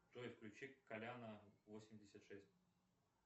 джой включи коляна восемьдесят шесть